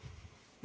Palun!